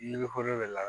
Ni ne kolo bɛ la